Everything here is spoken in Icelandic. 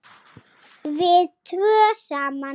Við tvö saman.